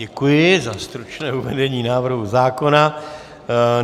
Děkuji za stručné uvedení návrhu zákona.